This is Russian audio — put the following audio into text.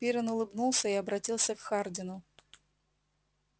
пиренн улыбнулся и обратился к хардину